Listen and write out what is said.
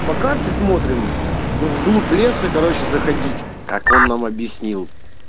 по карте смотрим в глубь леса короче заходить как он нам объяснил